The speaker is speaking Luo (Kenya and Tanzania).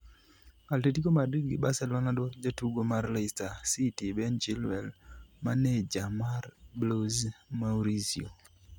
Atletico Madrid gi Barcelona dwaro jatugo mar Leicester city Ben Chilwell maneja mar Blues Maurizio